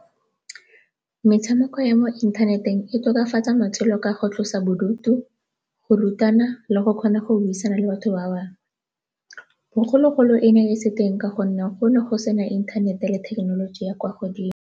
Metshameko ya mo inthaneteng e tokafatsa matshelo ka go tlosa bodutu, go rutana le go kgona go buisana le batho ba bangwe. Bogologolo e ne e se teng ka gonne go ne go sena inthanete le thekenoloji ya kwa godimo.